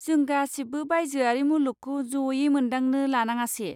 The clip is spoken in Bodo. जों गासिबो बायजोआरि मुलुगखौ जयै मोनदांनो लानाङासे?